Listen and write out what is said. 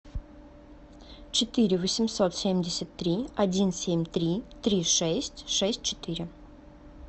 четыре восемьсот семьдесят три один семь три три шесть шесть четыре